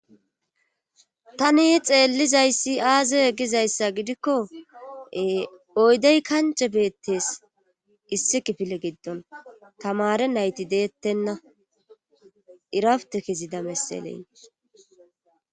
Tani xeellizayssi aaze egizayssa gidikko oydey kance beettes issi kifile giddon tamare nayti deettenna irafutekezida messeley.